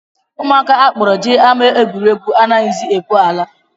Ụmụaka a kpọrọ jee ama egwuregwu anaghịzi ekwe ala